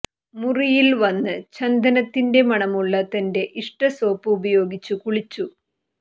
മുറിയിൽ വന്ന് ചന്ദനത്തിന്റെ മണമുള്ള തന്റെ ഇഷ്ട സോപ്പ് ഉപയോഗിച്ച് കുളിച്ചു